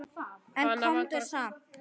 En komdu samt!